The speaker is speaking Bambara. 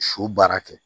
Su baara kɛ